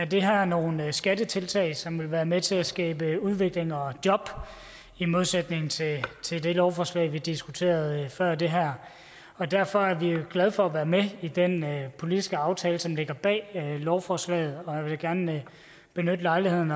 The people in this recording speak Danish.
det her nogle skattetiltag som vil være med til at skabe udvikling og job i modsætning til til det lovforslag vi diskuterede før det her derfor er vi glade for at være med i den politiske aftale som ligger bag lovforslaget og jeg vil gerne benytte lejligheden